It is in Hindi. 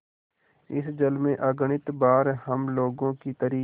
इस जल में अगणित बार हम लोगों की तरी